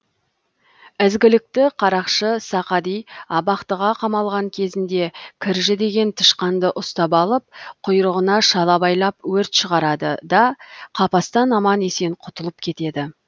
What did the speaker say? ізгілікті қарақшы сақади абақтыға қамалған кезінде кіржі деген тышқанды ұстап алып құйрығына шала байлап өрт шығарады да қапастан аман есен құтылып кетеді